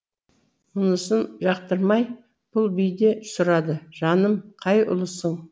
мұнысын жақтырмай бұл би де сұрады жаным қай ұлысың